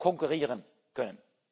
konkurrieren kann.